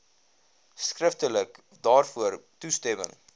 skriftelik daarvoor toestemming